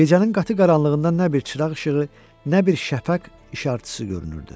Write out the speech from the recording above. Gecənin qatı qaranlığından nə bir çıraq işığı, nə bir şəfəq işartısı görünürdü.